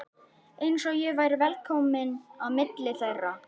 Eins og ég væri velkominn á milli þeirra.